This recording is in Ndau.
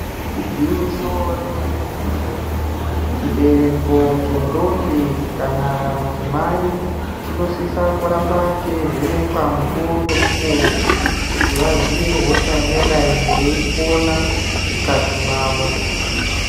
Igwinyiso remene mene chibereko chendombi kana vadzimai chinosisa ramba cheivhenekwa mukuwo ngemukowo kuti vaziye hosha ingadai yeipona mukati mwavo.